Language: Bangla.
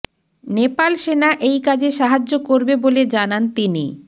নেপাল সেনা এই কাজে সাহায্য করবে বলে জানান তিনি